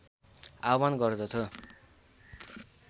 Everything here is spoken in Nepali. आह्वान गर्दछ